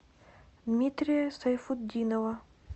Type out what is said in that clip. дмитрия сайфутдинова